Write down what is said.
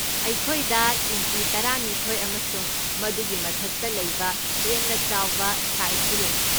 ꯑꯩꯈꯣꯏꯗ ꯏꯟꯆꯤ ꯇꯔꯥꯅꯤꯊꯣꯢ ꯑꯃꯁꯨꯡ ꯃꯗꯨꯒꯤ ꯃꯊꯛꯇ ꯂꯩꯕ ꯍꯦꯟꯅ ꯆꯥꯎꯕ ꯁꯥꯏꯖꯁꯨ ꯂꯩ꯫